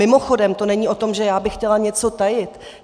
Mimochodem, to není o tom, že já bych chtěla něco tajit.